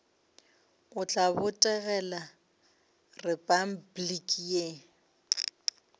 o tla botegela repabliki le